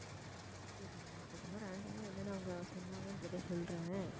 சரி நான் இப்ப சும்மா random ஆ என்னென்ன அவங்க சொன்னாங்கன்றதை சொல்றேன்